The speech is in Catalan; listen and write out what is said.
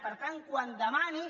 per tant quan demani